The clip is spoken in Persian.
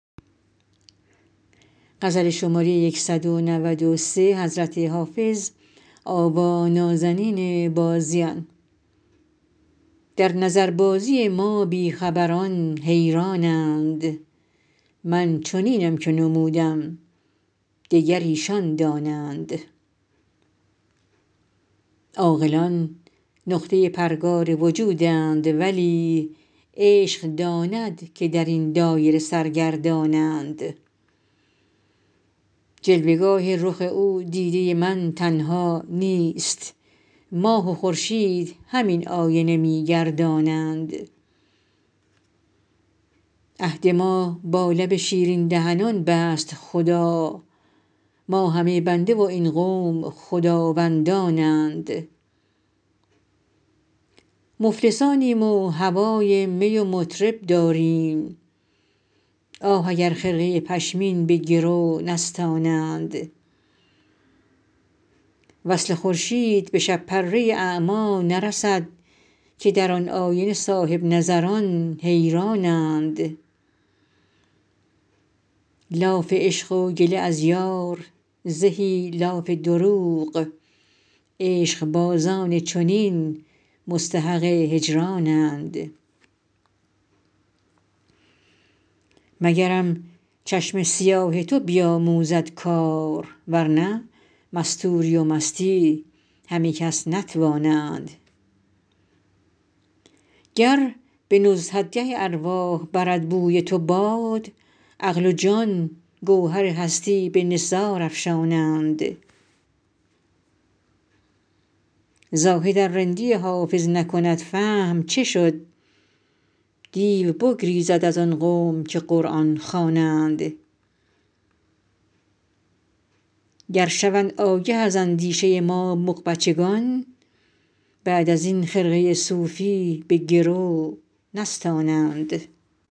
در نظربازی ما بی خبران حیران اند من چنینم که نمودم دگر ایشان دانند عاقلان نقطه پرگار وجودند ولی عشق داند که در این دایره سرگردان اند جلوه گاه رخ او دیده من تنها نیست ماه و خورشید همین آینه می گردانند عهد ما با لب شیرین دهنان بست خدا ما همه بنده و این قوم خداوندان اند مفلسانیم و هوای می و مطرب داریم آه اگر خرقه پشمین به گرو نستانند وصل خورشید به شب پره اعمی نرسد که در آن آینه صاحب نظران حیران اند لاف عشق و گله از یار زهی لاف دروغ عشق بازان چنین مستحق هجران اند مگرم چشم سیاه تو بیاموزد کار ورنه مستوری و مستی همه کس نتوانند گر به نزهتگه ارواح برد بوی تو باد عقل و جان گوهر هستی به نثار افشانند زاهد ار رندی حافظ نکند فهم چه شد دیو بگریزد از آن قوم که قرآن خوانند گر شوند آگه از اندیشه ما مغ بچگان بعد از این خرقه صوفی به گرو نستانند